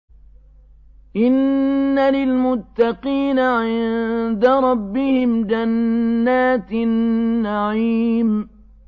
إِنَّ لِلْمُتَّقِينَ عِندَ رَبِّهِمْ جَنَّاتِ النَّعِيمِ